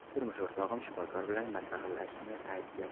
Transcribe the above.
Turmush o‘rtog‘im shifokor bilan maslahatlashishni aytdi.